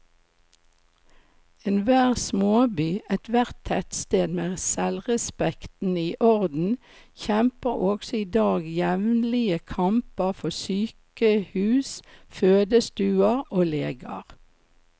Enhver småby, ethvert tettsted med selvrespekten i orden, kjemper også i dag jevnlige kamper for sykehus, fødestuer og leger.